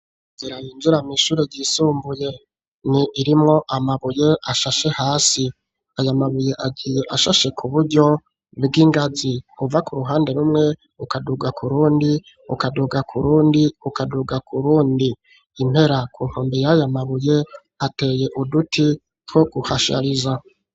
Jirayinjuramo ishure yisumbuye ni irimwo amabuye ashashe hasi ayamabuye agiye ashashe ku buryo bw'ingazi uva ku ruhande rumwe ukaduga ku rundi ukaduga ku rundi ukaduga ku rundi impera ku nkombeye ayamabuye ateye uduti two guhasha liza.